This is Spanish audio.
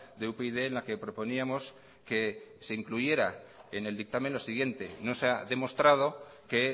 de upyd en la que proponíamos que se incluyera en el dictamen lo siguiente no se ha demostrado que